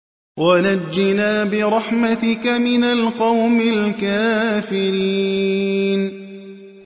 وَنَجِّنَا بِرَحْمَتِكَ مِنَ الْقَوْمِ الْكَافِرِينَ